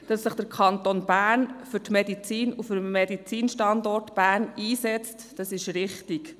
Dass sich der Kanton Bern für die Medizin und den Medizinstandort Bern einsetzt, ist richtig.